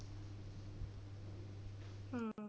ਹਾਂ।